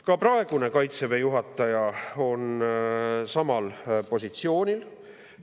Ka praegune Kaitseväe juhataja on samal positsioonil.